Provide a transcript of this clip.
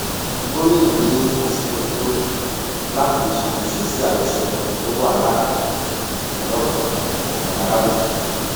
gomina ní àsìkò ti tó láti ṣàtúnṣe sí àjọṣepọ tó wà láàrin ọlọpàá àtàwọn aráàlú